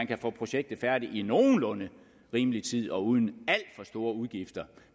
kan få projektet færdigt i nogenlunde rimelig tid og uden alt for store udgifter